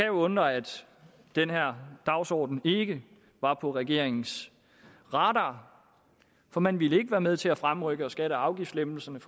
undre at den her dagsorden ikke var på regeringens radar for man ville ikke være med til at fremrykke skatte og afgiftslettelserne